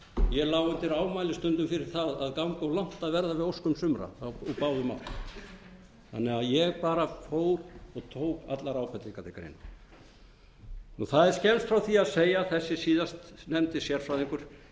ég lá undir ámæli stundum fyrir það að ganga of langt í að verða við óskum sumra úr báðum áttum ég bara fór og tók allar ábendingar til greina það er skemmst frá því að segja að þessi síðastnefndi sérfræðingur